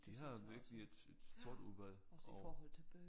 De har virkelig et et stort udvalg og